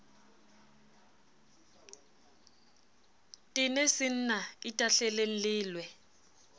tene senna itahleleng le lwe